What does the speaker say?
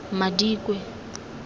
madikwe